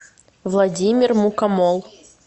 владимир мукомол